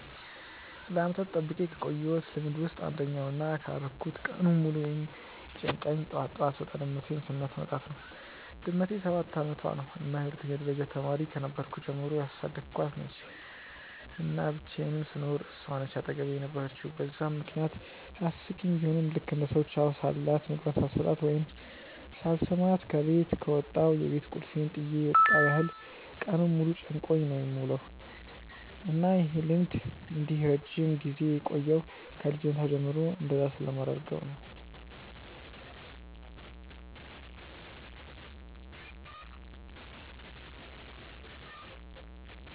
ለዓመታት ጠብቄ ካቆየውት ልምድ ውስጥ አንደኛው እና ካላረኩት ቀኑን ሙሉ የሚጨንቀኝ ጠዋት ጠዋት ስወጣ ድመቴን ስሚያት መውጣት ነው። ድመቴ ሰባት አመቷ ነው እና የሁለተኛ ደረጃ ተማሪ ከነበርኩ ጀምሮ ያሳደኳት ነች፤ እና ብቻየንም ስኖር እሷ ነች አጠገቤ የነበረችው በዛም ምክንያት አስቂኝ ቡሆም ልክ እንደ ሰው ቻው ሳልላት፣ ምግቧን ሳልሰጣት ወይም ሳልስማት ከበት ከወጣው የቤት ቁልፌን ጥየ የመጣው ያህል ቀኑን ሙሉ ጨንቆኝ ነው የምውለው። እና ይህ ልምዴ እንዲህ ረጅም ጊዜ የቆየው ከ ልጅነቷ ጀምሮ እንደዛ ስለማደርግ ነው።